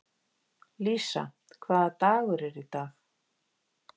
Lísa, hvaða dagur er í dag?